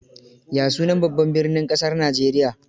Ya sunan Babban birnin Kasar Najeriya?